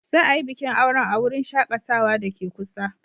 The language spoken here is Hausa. Za a yi bikin auren a wurin shakatawa da ke kusa.